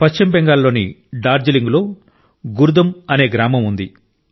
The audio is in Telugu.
పశ్చిమ బెంగాల్లోని డార్జిలింగ్లో గుర్ దుం అనే గ్రామం ఉంది